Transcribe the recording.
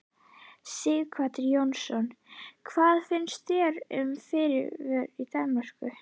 Sighvatur Jónsson: Hvað finnst þér um fríblöðin í Danmörku?